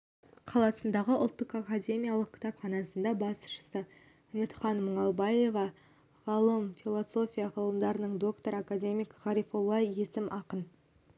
қаласындағы ұлттық академиялық кітапханасының басшысы үмітхан мұңалбаева ғалым философия ғылымдарының докторы академик ғарифолла есім ақын